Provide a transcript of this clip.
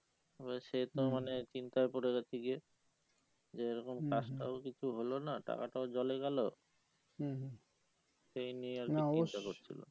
এবারে সে তো মানে চিন্তায় পরে গেছে গিয়ে যে এরকম কাজটাও কিছু হলো না টাকাটাও জলে গেলো সেই নিয়ে আর কি চিন্তা করছিলো